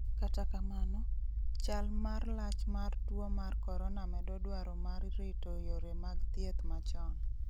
Kata kamano, chal mar lach mar tuo mar corona medo dwaro mar rito yore mag thieth machon.